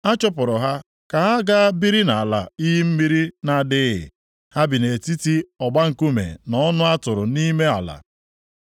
A chụpụrụ ha ka ha gaa biri nʼala iyi mmiri na-adịghị. Ha bi nʼetiti ọgba nkume na ọnụ a tụrụ nʼime ala.